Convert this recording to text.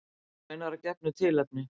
Raunar að gefnu tilefni.